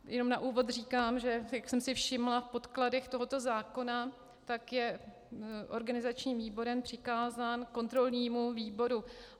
Jenom na úvod říkám, že jak jsem si všimla v podkladech tohoto zákona, tak je organizačním výborem přikázán kontrolnímu výboru.